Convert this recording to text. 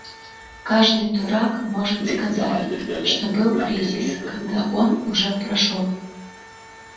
каждый дурак может сказать что был кризис когда он уже прошёл